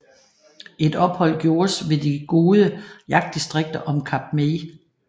Et ophold gjordes ved de gode jagtdistrikter om Kap May